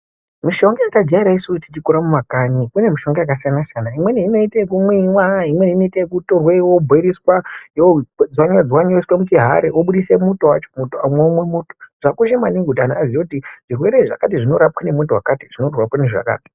Mishonga yatajaira isusu tichikura mumakanyi kune mushonga yakasiyana siyana imweni inoite ekumwiwa imweni yokutorwa yobhoiriswa yodzoreredzwa yoiswa muchihari wobidise muto wacho womwe muto zvakakosha maningi kuti antu aziye kuti zvirwere izvo zvakati zvinorapwa nemuto wakati ........